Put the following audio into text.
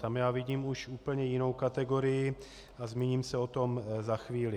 Tam já vidím už úplně jinou kategorii a zmíním se o tom za chvíli.